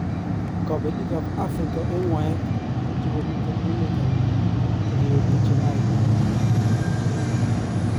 kapeliig ap Africa en ngwaek chegomiten emet ap Rio-de Janairo